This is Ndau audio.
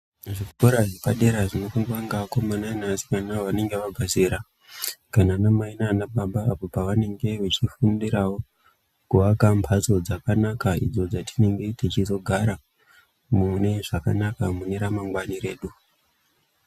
Zvikora zvepadera zvinopindea neakomana neasikana vanenge vabva zera kana ana mai nana baba pavanenge veifundirawo kuaka mbatso dzakanaka idzo dzatinenge tichizogara mune zvakanaka mune ramangwana redu.